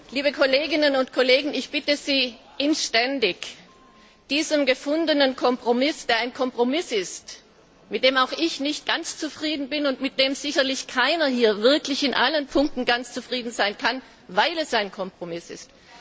Liebe Kolleginnen und Kollegen, ich bitte Sie inständig, dem gefundenen Kompromiss zuzustimmen, mit dem auch ich nicht ganz zufrieden bin und mit dem sicherlich keiner hier wirklich in allen Punkten ganz zufrieden sein kann, weil es eben ein Kompromiss ist.